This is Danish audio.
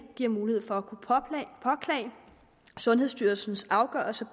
giver mulighed for at kunne påklage sundhedsstyrelsens afgørelse